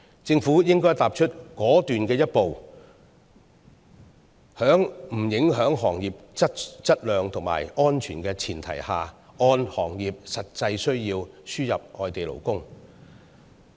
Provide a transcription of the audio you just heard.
政府應該踏出果斷的一步，在不影響行業質量和安全的前提下，按照行業實際需要輸入外地勞工。